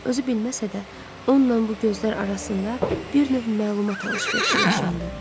Özü bilməsə də, onunla bu gözlər arasında bir növ məlumat alış-verişi yaşandı.